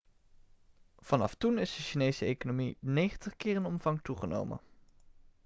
vanaf toen is de chinese economie 90 keer in omvang toegenomen